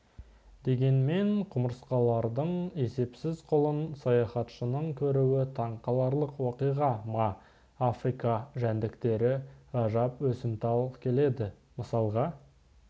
дегенмен құмырсқалардың есепсіз қолын саяхатшының көруі таң қаларлық оқиға ма африка жәндіктері ғажап өсімтал келеді мысалға